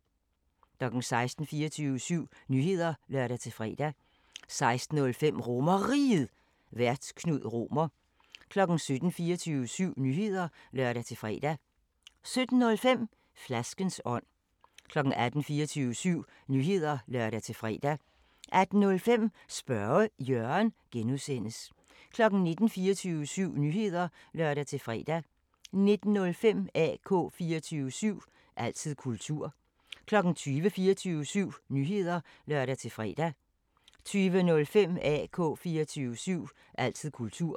16:00: 24syv Nyheder (lør-fre) 16:05: RomerRiget, Vært: Knud Romer 17:00: 24syv Nyheder (lør-fre) 17:05: Flaskens ånd 18:00: 24syv Nyheder (lør-fre) 18:05: Spørge Jørgen (G) 19:00: 24syv Nyheder (lør-fre) 19:05: AK 24syv – altid kultur 20:00: 24syv Nyheder (lør-fre) 20:05: AK 24syv – altid kultur